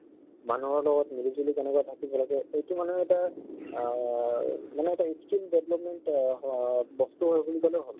মানুহৰ লগত মিলি জুলি কেনেকে থাকিব লাগে এইটো মানে এটা আহ মানে এটা skill development অহ হ অ বস্তু হয় বুলি কলে হল।